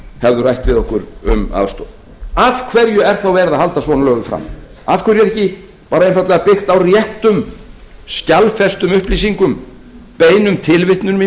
hefðu rætt við okkur um aðstoð af hverju er þá verið að halda svona löguðu fram af hverju er bara einfaldlega ekki byggt á réttum skjalfestum upplýsingum beinum tilvitnunum